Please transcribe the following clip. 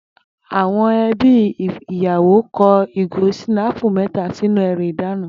Àwo̩n e̩bí iyawo ko̩ ìgò s̩ìnáàpù mé̩ta sínú e̩rù ìdána